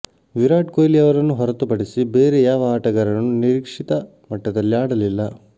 ವಿರಾಟ್ ಕೊಹ್ಲಿ ಅವರನ್ನು ಹೊರತುಪಡಿಸಿ ಬೇರೆ ಯಾವ ಆಟಗಾರನೂ ನಿರೀಕ್ಷಿತ ಮಟ್ಟದಲ್ಲಿ ಆಡಲಿಲ್ಲ